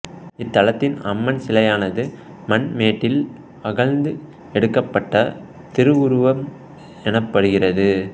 இத்தலத்தின் அம்மன் சிலையானது மண்மேட்டில் அகழ்ந்து எடுக்கப்பட்ட திருவுருவம் எனப்படுகிறது